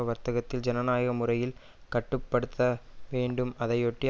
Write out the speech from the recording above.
வர்க்கத்தில் ஜனநாயக முறையில் கட்டு படுத்த வேண்டும் அதையொட்டி